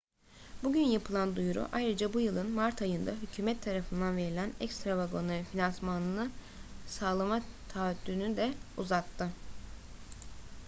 bugün yapılan duyuru ayrıca bu yılın mart ayında hükûmet tarafından verilen ekstra vagonların finansmanını sağlama taahhüdünü de uzattı